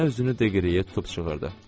Nənə özünü Deqliyə tutub çığırdı.